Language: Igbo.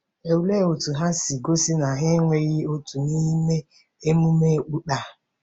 Olee otú ha si gosi na ha enweghị òtù n’ime emume okpukpe a?